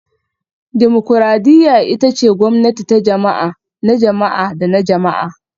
Dimokuradiyya ita ce gwamnati ta jama'a, na jama'a da na jama'a